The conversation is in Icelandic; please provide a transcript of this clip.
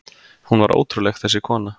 Hún var ótrúleg, þessi kona.